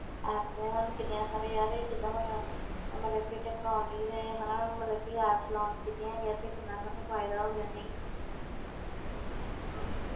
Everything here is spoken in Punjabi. Apps ਨੇ ਸਾਨੂੰ ਕਿੰਨੀਆਂ ਸਾਰੀਆਂ ਯਾਰ ਇਹ ਜਿੱਦਾਂ ਹੁਣ ਮਤਲਬ ਕਿ technology ਨੇ ਹਨਾ ਮਤਲਬ ਕਿ apps launch ਕੀਤੀਆਂ ਹੈਗੀਆਂ ਤੇ ਕਿੰਨਾ ਸਾਨੂੰ ਫ਼ਾਇਦਾ ਹੋ ਗਿਆ ਨਹੀਂ ਹਮ